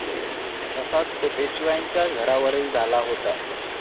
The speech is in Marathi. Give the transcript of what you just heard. तसाच तो पेशव्यांच्या घरावरही झाला होता.